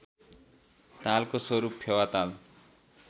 तालको रूपमा फेवाताल